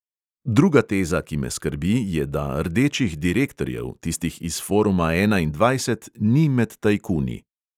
Druga teza, ki me skrbi, je, da rdečih direktorjev, tistih iz foruma enaindvajset, ni med tajkuni.